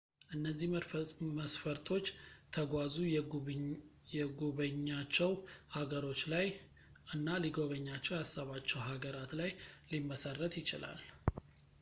እነዚህ መስፈርቶች ተጓዙ የጉበኛቸው ሃገሮች ላይ እና ሊጎበኛቸው ያሰባቸው ሀገራት ላይ ሊመሠረት ይችላል